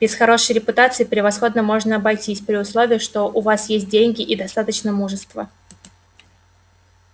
без хорошей репутации превосходно можно обойтись при условии что у вас есть деньги и достаточно мужества